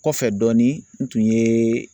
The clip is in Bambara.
Kɔfɛ dɔɔni n tun ye.